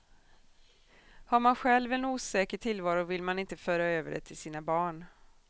Har man själv en osäker tillvaro vill man inte föra över det till sina barn.